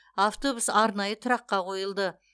автобус арнайы тұраққа қойылды